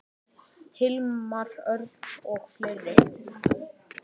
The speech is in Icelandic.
Hilmar Örn og fleiri.